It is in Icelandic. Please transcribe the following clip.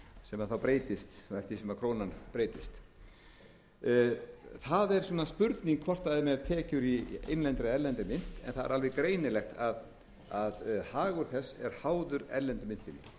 sem þá breytist eftir því sem krónan breytist það er spurning hvort það er með tekjur í innlendri eða erlendri mynt en það er alveg greinilegt að hagur þess er háður erlendu myntinni sérstaklega þar